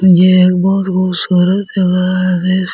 ये सूरज दिख रहा है।